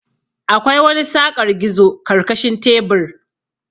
Akwai wani saƙar gizo karkashin tebur.